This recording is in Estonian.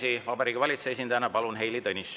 Heili Tõnisson Vabariigi Valitsuse esindajana, palun!